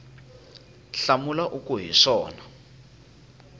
hlamula u ku hi swona